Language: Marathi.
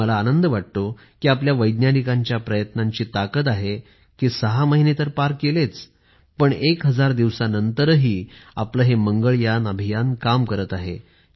मात्र मला आनंद वाटतो कि आपल्या वैज्ञानिकांच्या प्रयत्नांची ताकद आहे कि ६ महिने तर पार केलेच पण १ हजार दिवसांनंतरही आपलं हे मंगळयान अभियान काम करत आहे